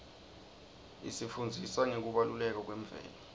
isifundzisa ngekubaluleka kwemvelo